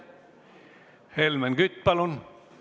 Helmen Kütt, palun!